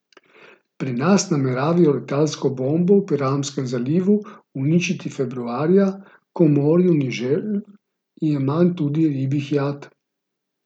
Pri nas nameravajo letalsko bombo v Piranskem zalivu uničiti februarja, ko v morju ni želv in je manj tudi ribjih jat.